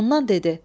Ondan dedi.